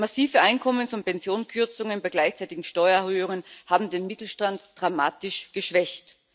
Massive Einkommens und Pensionskürzungen bei gleichzeitigen Steuererhöhungen haben den Mittelstand dramatisch geschwächt.